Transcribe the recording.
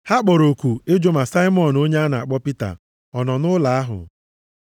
Ha kpọrọ oku ịjụ ma Saimọn onye a na-akpọ Pita ọ nọ nʼụlọ ahụ.